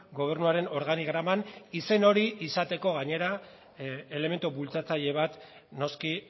gobernuaren organigraman izen hori izateko gainera elementu bultzatzaile bat noski